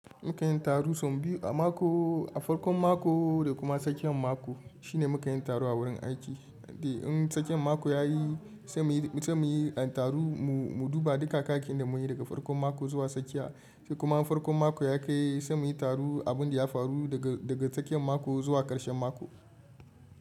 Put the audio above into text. Mu kan yin taro sau biyu a mako, a farkon mako da kuma a tsakiyan mako shine mukan yin taro a wurin aiki. Da in tsakiyan mako ya yi, sai mu yi taro mu duba duka kayyakin da mun yi daga farkon mako zuwa tsakiya, sai kuma in farkon mako ya kai sai mu yi taro abin da ya faru daga tsakiyan mako zuwa ƙarshen mako.